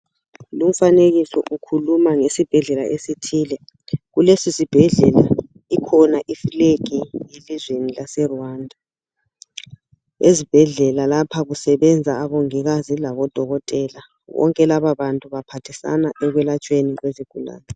Lumfanekiso ukhuluma ngesibhedlela esithile . Kulesi sibhedlela ikhona iflegi yelizweni lase Rwanda . Ezibhedlela lapha kusebenza omongikazi labo dokotela bonke laba bantu baphathisana ekwelatshweni kwezigulani .